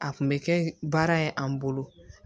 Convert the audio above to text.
A kun bɛ kɛ baara ye an bolo